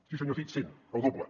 sí senyor cid cent el doble